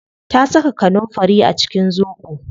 Ta saka kanunfari a cikin zobo